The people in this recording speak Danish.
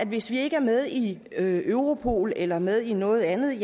hvis vi ikke er med i europol eller med i noget andet